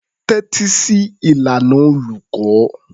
Tẹ́tí sí ìlànà olùkọ́.